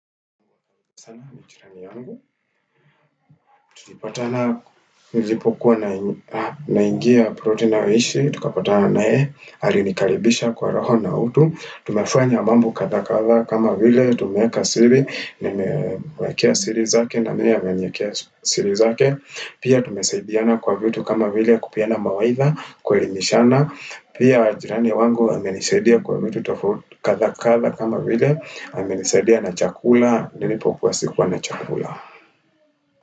Sama ni jirani yangu, tulipatana nilipokuwa na ingia ploti ninayoishi, tukapatana naye, alinikaribisha kwa roho na utu, tumefanya mambo kadha kadha kama vile, tumeeka siri, nimemwekea siri zake, na nimi ameniekea siri zake, pia tumesaidiana kwa vitu kama vile, kupeana mawaidha, kuelimishana, pia wajirani wangu amenisedia kwa vitu kadha kadha kama vile, amenisedia na chakula, nilipokuwa sikuwa na chakula.